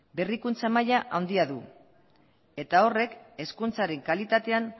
berrikuntza maila handia du eta horrek hezkuntzaren kalitatean